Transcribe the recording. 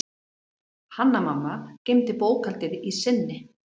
Hanna-Mamma geymdi bókhaldið í sinni.